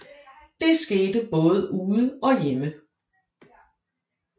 Det skete både ude og hjemme